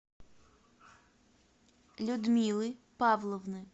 людмилы павловны